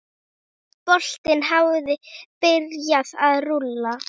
Boltinn hafi byrjað að rúlla.